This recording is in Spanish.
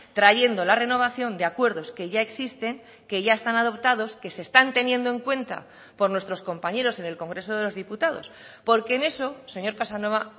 trayendo la renovación de acuerdos que ya existen que ya están adoptados que se están teniendo en cuenta por nuestros compañeros en el congreso de los diputados porque en eso señor casanova